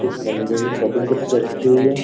इस बंदे की कटिंग कितनी अच्छी है।